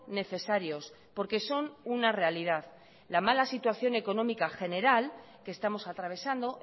necesarios porque son una realidad la mala situación económica general que estamos atravesando